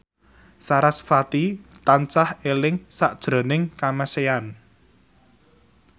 sarasvati tansah eling sakjroning Kamasean